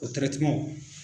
O .